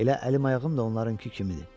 Elə əlim-ayağım da onlarınkı kimidir.